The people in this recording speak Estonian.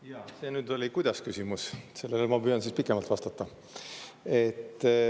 Jaa, see nüüd oli kuidas-küsimus, sellele ma püüan pikemalt vastata.